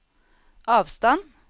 avstand